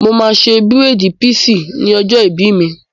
Mo máa ṣe bírèèdì píísì ní ọjọ́ ìbí mi